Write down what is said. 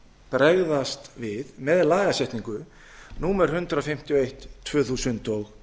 bregðast við með lagasetningu númer hundrað fimmtíu og eitt tvö þúsund og